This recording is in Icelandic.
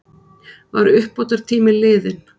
Var uppbótartíminn liðinn?